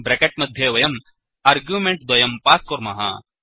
bracket मध्ये वयम् आर्ग्यूमेण्ट्द्वयं पास्कुर्मः